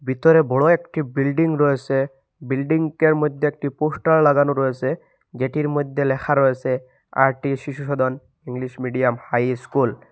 ভিতরে বড় একটি বিল্ডিং রয়েসে বিল্ডিংএর মদ্যে একটি পোস্টার লাগানো রয়েসে যেটির মদ্যে লেখা রয়েসে R T Shishu Sadan English medium high school.